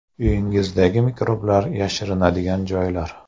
Uyingizdagi mikroblar yashirinadigan joylar.